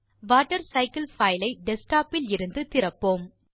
water cycle file ஐ desktop இலிருந்து திறப்போம்